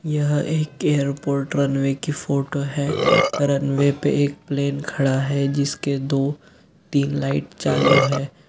यह एक airport runway की फोटो है रनवे पे एक प्लेन खड़ा है जिसके दो तीन लाइट चालू है।